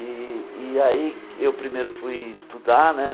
E e aí eu primeiro fui estudar né.